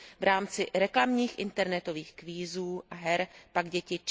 V rámci reklamních internetových kvízů a her pak děti